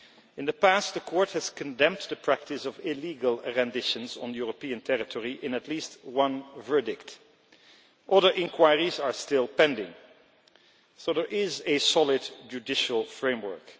In the past, the Court has condemned the practice of illegal renditions on European territory in at least one verdict. Other inquiries are still pending so there is a solid judicial framework.